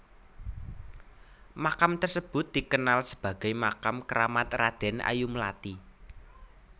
Makam tersebut dikenalsebagai makam keramat Raden Ayu Mlati